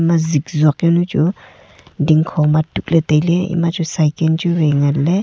ma zikjao jao nu chu dingkho ma tuk le taile ema chu saiken chu wai ngan le.